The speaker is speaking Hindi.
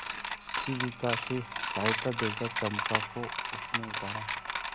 शिविका से सहायता देकर चंपा को उसने उतारा